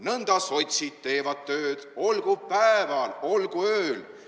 Nõnda sotsid teevad tööd, olgu päeval, olgu ööl.